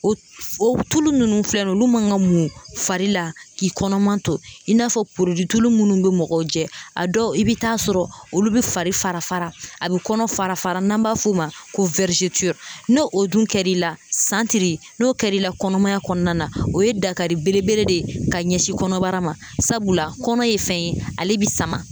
O o tulu minnu filɛ nin ye olu man ka mun fari la k'i kɔnɔman to i n'a fɔ tulu munnu bɛ mɔgɔw jɛ a dɔw i bɛ taa sɔrɔ olu bɛ fari fara fara a bɛ kɔnɔ fara fara n'an b'a f'o ma ko n'o o dun kɛra i la santiri n'o kɛra i la kɔnɔmaya kɔnɔna na o ye dakari belebele de ye ka ɲɛsin kɔnɔbara ma sabula kɔnɔ ye fɛn ye ale bɛ sama.